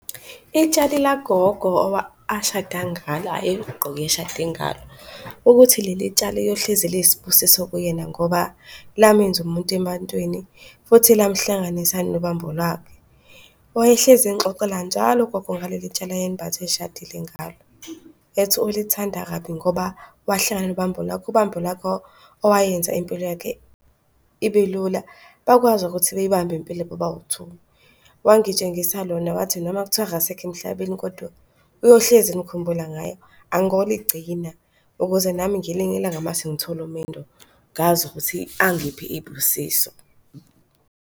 Itshali la gogo ashada ngalo ayeligqoke eshade ngalo. Ukuthi leli tshali yohlezi liyisibusiso kuyena ngoba lamenza umuntu ebantwini. Futhi lamuhlanganisa nobambo lwakhe. Wayehlezi engixoxela njalo ugogo ngaleli tshali ayelimbathe eshadile ngalo, ethi ulithanda kabi ngoba wahlangana nobambo lwakhe, ubambo lwakhe owayenza impilo yakhe ibe lula. Bakwazi ukuthi beyibambe impilo bobawu-two. Wangitshengisa lona, wathi noma kuthiwa akasekho emhlabeni kodwa uyohlezi emkhumbula ngaye angoligcina ukuze nami ngelinye ilanga mase ngithole umendo ngazi ukuthi angiphe iy'busiso.